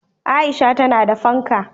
Aisha tana da fanka